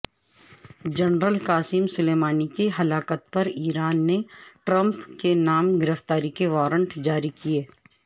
general Qasem Soleimani کی ہلاکت پرایران نے ٹرمپ کےنام گرفتاری کے وارنٹ جاری کئے